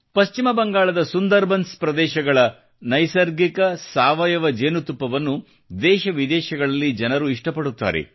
ಪಶ್ಚಿಮ ಬಂಗಾಳದ ಸುಂದರ್ ಬನ್ಸ್ ಪ್ರದೇಶಗಳ ನೈಸರ್ಗಿಕ ಸಾವಯವ ಜೇನುತುಪ್ಪವನ್ನು ದೇಶವಿದೇಶಗಳಲ್ಲಿ ಜನರು ಇಷ್ಟ ಪಡುತ್ತಾರೆ